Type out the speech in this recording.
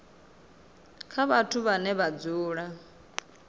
kha vhathu vhane vha dzula